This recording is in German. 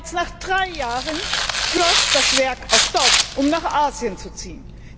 Bereits nach drei Jahren schloss das Werk auch dort, um nach Asien zu ziehen.